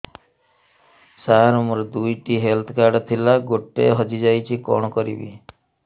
ସାର ମୋର ଦୁଇ ଟି ହେଲ୍ଥ କାର୍ଡ ଥିଲା ଗୋଟେ ହଜିଯାଇଛି କଣ କରିବି